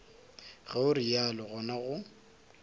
ge o realo gona go